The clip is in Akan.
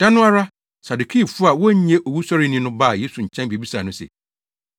Da no ara, Sadukifo a wonnye owusɔre nni no baa Yesu nkyɛn bebisaa no se,